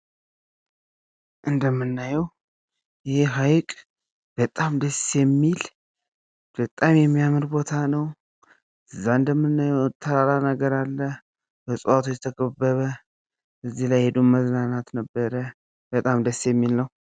እንደምናየው ይህ ሀይቅ በጣም ደስ የሚል ፣ በጣም የሚያምር ቦታ ነው ። እዛ እንደምናየው ተራራ ነገር አለ በእፅዋቶች የተከበበ ። እዚ ላይ ሂዶ መዝናናት ነበር ! በጣም ደስ የሚል ነው ።